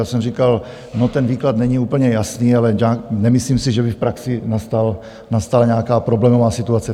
Já jsem říkal, no, ten výklad není úplně jasný, ale nemyslím si, že by v praxi nastala nějaká problémová situace.